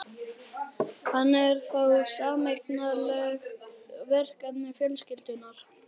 Hann er þá sameiginlegt verkefni fjölskyldunnar.